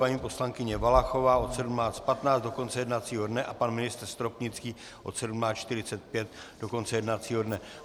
Paní poslankyně Valachová od 17.15 do konce jednacího dne a pan ministr Stropnický od 17.45 do konce jednacího dne.